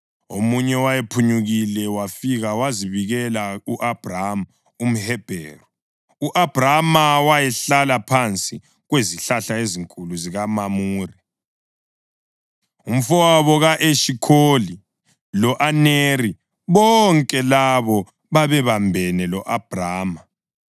Omunye owayephunyukile wafika wazabikela u-Abhrama umHebheru. U-Abhrama wayehlala phansi kwezihlahla ezinkulu zikaMamure umʼAmori, umfowabo ka-Eshikholi lo-Aneri, bonke labo babebambene lo-Abhrama.